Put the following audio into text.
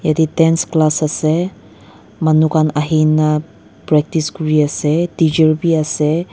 yati dance class ase manukan ahikina practice kuriase tacher beh ase.